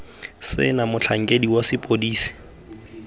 se na motlhankedi wa sepodisi